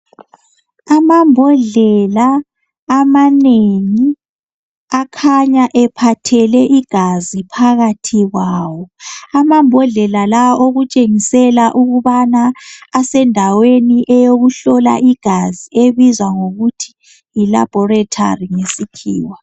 Amambodlela amanengi akhanya ephathele igazi phakathi kwawo amambodlela lawa okutshengisela ukubana asendaweni eyokuhlola igazi ebizwa ngokuthi yilaboratory ngesikhiwa.